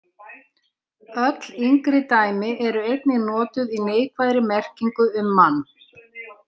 Öll yngri dæmi eru einnig notuð í neikvæðri merkingu um mann.